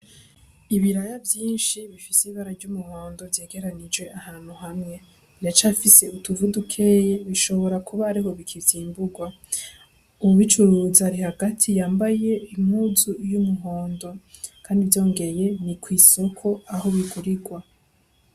Ibiraya vyinshi bifise ibara ry'umuhundo vyegeranije ahantu hamwe, biracafise utuvu dukeyi bishobora kuba ariho bikivyimburwa, uwubicuruza ari hagati yambaye impuzu y'umuhondo, kandi vyongeye ni kw'isoko aho bigurirwa.